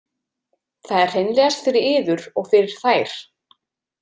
Það er hreinlegast fyrir yður og fyrir þær.